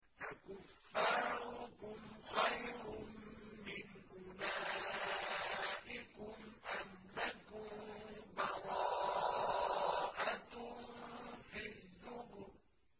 أَكُفَّارُكُمْ خَيْرٌ مِّنْ أُولَٰئِكُمْ أَمْ لَكُم بَرَاءَةٌ فِي الزُّبُرِ